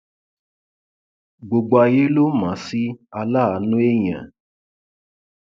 gbogbo ayé ló mọ ọn sí aláàánú èèyàn